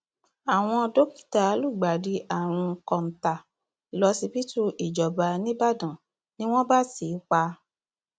àwọn dókítà lùgbàdì àrùn kọńtà lọsibítù ìjọba nígbàdàn ni wọn bá tì í pa